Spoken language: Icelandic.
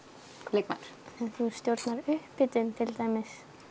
leikmaður þú stjórnar upphitun til dæmis